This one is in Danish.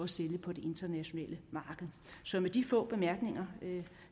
sælge på det internationale marked så med de få bemærkninger